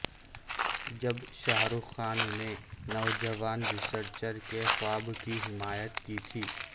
جب شاہ رخ خان نے نوجوان ریسرچر کے خواب کی حمایت کی تھی